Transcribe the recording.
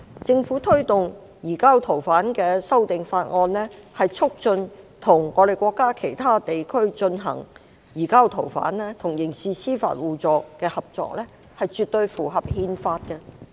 政府推動移交逃犯的修訂法案，促進與國家其他地區進行移交逃犯與刑事司法互助的合作，絕對符合憲法。